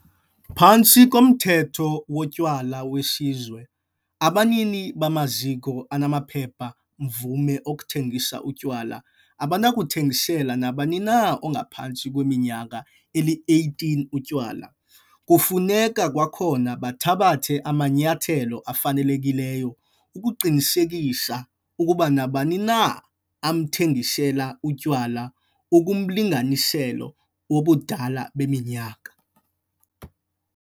Phantsi koMthetho woTywala weSizwe, abanini bamaziko anamaphepha-mvume okuthengisa utywala abanakuthengisela nabani na ongaphantsi kweminyaka eli-18 utywala. Kufuneka kwakhona bathabathe amanyathelo afanelekileyo ukuqinisekisa ukuba nabani na abamthengisela utywala ukumlinganiselo wobudala beminyaka.